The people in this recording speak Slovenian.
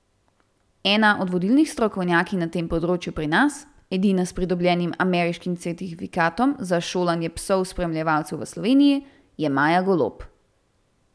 Ena od vodilnih strokovnjakinj na tem področju pri nas, edina s pridobljenim ameriškim certifikatom za šolanje psov spremljevalcev v Sloveniji, je Maja Golob.